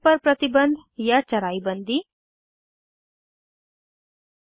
चराई पर प्रतिबंध या चराई बंदी 3